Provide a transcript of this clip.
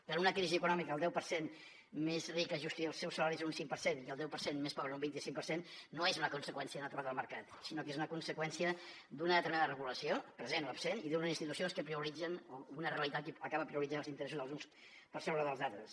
que en una crisi econòmica el deu per cent més ric ajusti els seus salaris en un cinc per cent i el deu per cent més pobre en un vint cinc per cent no és una conseqüència natural del mercat sinó que és una conseqüència d’una determinada regulació present o absent i d’unes institucions que prioritzen o una realitat que acaba prioritzant els interessos dels uns per sobre dels altres